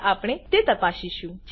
હવે આપણે તે તપાસીશું